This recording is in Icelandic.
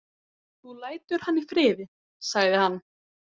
Þú lætur hann í friði, sagði hann.